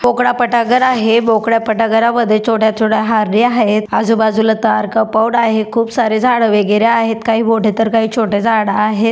मोकळा पटांगण आहे मोकळ्या पटांगणामध्ये छोट्या छोट्या हरनी आहेत आजू बाजूला तार कंपाऊंड आहे खूप सारे झाडे वगैरे आहेत काही मोठे तर काही छोटे झाड आहेत.